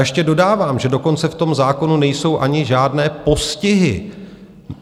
Ještě dodávám, že dokonce v tom zákonu nejsou ani žádné postihy.